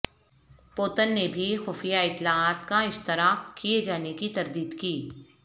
Putin نے بھی خفیہ اطلاعات کا اشتراک کئے جانے کی تردید کی